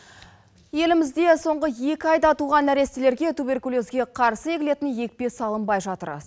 елімізде соңғы екі айда туған нәрестілерге туберкулезге қарсы егілетін екпе салынбай жатыр